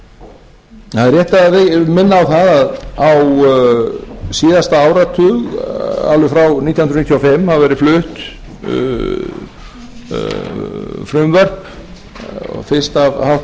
það er rétt að minna á síðasta áratug alveg frá nítján hundruð níutíu og fimm hafa verið flutt frumvörp fyrst af